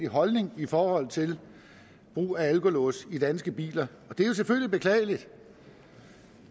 holdning i forhold til brug af alkolås i danske biler og det er jo selvfølgelig beklageligt